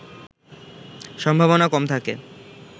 সম্ভাবনা কম থাকে